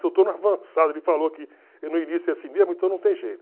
Se eu estou no avançado, ele falou que no início é assim mesmo, então não tem jeito.